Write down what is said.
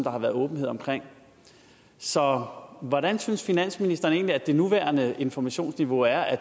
har været åbenhed omkring så hvordan synes finansministeren egentlig at det nuværende informationsniveau er er